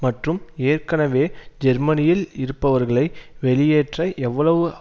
மற்றும் ஏற்கனவே ஜெர்மனியில் இருப்பவர்களை வெளியேற்ற எவ்வளவு